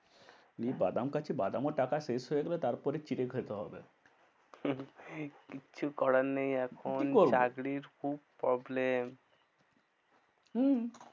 এই বাদাম খাচ্ছি বাদামও টাকা শেষ হয়ে গেলে তারপরে চিড়ে খেতে হবে। কিচ্ছু করার নেই আর। কি করবো? চাকরির খুব problem. হম